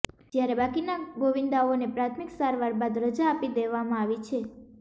જ્યારે બાકીના ગોવિંદાઓને પ્રાથમિક સારવાર બાદ રજા આપી દેવામાં આવી છે